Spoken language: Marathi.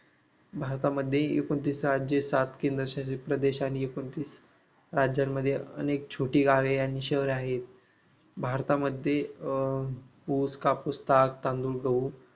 भारतामध्ये एकोणतीस राज्य सात केंद्रशासित प्रदेश आणि एकोणतीस राज्यांमध्ये अनेक छोटी गावे आणि शहर आहेत भारतामध्ये अह ऊस कापूस साग तांदूळ गहू